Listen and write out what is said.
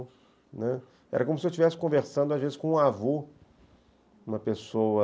Né, era como se eu estivesse conversando às vezes com um avô, uma pessoa...